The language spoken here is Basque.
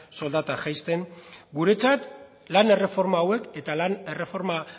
soldata jaisten guretzat lan erreforma hauek eta lan erreforma